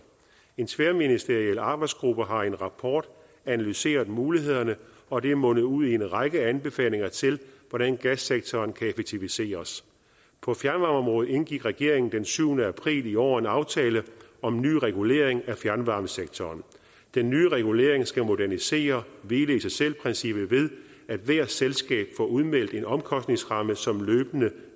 en tværministeriel arbejdsgruppe har i en rapport analyseret mulighederne og det er mundet ud i en række anbefalinger til hvordan gassektoren kan effektiviseres på fjernvarmeområdet indgik regeringen den syvende april i år en aftale om en ny regulering af fjernvarmesektoren den nye regulering skal modernisere hvile i sig selv princippet ved at hvert selskab får udmeldt en omkostningsramme som løbende